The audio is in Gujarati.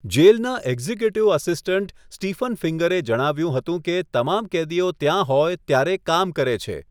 જેલના એક્ઝિક્યુટિવ આસિસ્ટન્ટ સ્ટીફન ફિંગરે જણાવ્યું હતું કે તમામ કેદીઓ ત્યાં હોય ત્યારે કામ કરે છે.